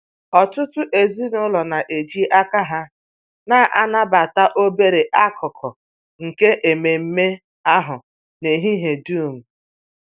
Ọtụtụ ezinụlọ na-eji aka ha na-anabata obere akụkụ nke ememe ahụ n'ehihie dum